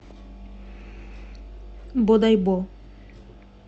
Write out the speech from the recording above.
бодайбо